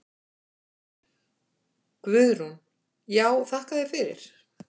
Guðrún: Já þakka þér fyrir.